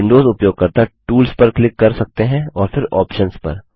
Windows उपयोगकर्ता tools पर click कर सकते हैं और फिर आप्शंस पर